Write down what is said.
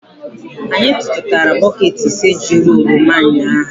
Anyị tụtụtara bọket ise juru oroma ụnyahụ.